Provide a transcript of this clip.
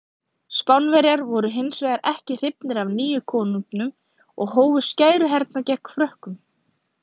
Spánverjar voru hins vegar ekki hrifnir af nýja konunginum og hófu skæruhernað gegn Frökkum.